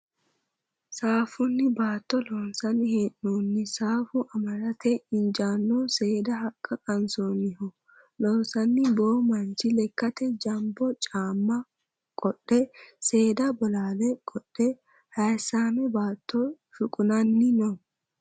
Saaffunni baatto loonsanni hee'noonni saaffu anadate injaannoho seeda haqqa qansoonniho. Loossanni boo manchi lekkate janbo caamma qodhe seeda bolaale qodhehayissaame baatto shuqunanni no.